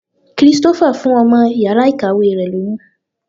Christopher fún ọmọ yàrá ìkàwé rẹ̀ lóyún.